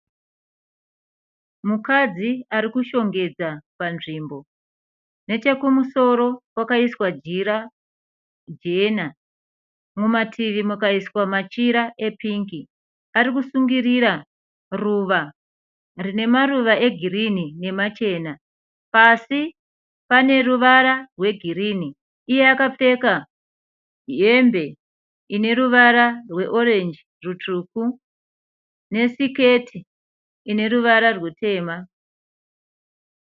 Mukadzi ari kushongedza panzvimbo. Nechekumusoro kwakaiswa jira jena. Mumativi mukaiswa machira epingi. Ari kusungirira ruva rine maruva egirini nemachena. Pasi pane ruvara rwegirini. Iye akapfeka hembe ine ruvara rweorenji rutsvuku nesiketi ine ruvara rutema.